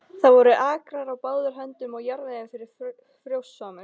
Það voru akrar á báðar hendur og jarðvegurinn var frjósamur.